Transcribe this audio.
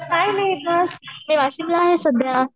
काय नाही गं मी वाशिमला आहे सध्या.